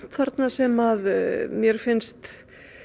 þarna sem mér finnst